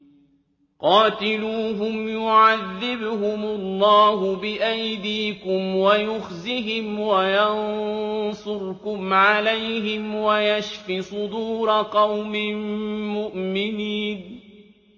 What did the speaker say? قَاتِلُوهُمْ يُعَذِّبْهُمُ اللَّهُ بِأَيْدِيكُمْ وَيُخْزِهِمْ وَيَنصُرْكُمْ عَلَيْهِمْ وَيَشْفِ صُدُورَ قَوْمٍ مُّؤْمِنِينَ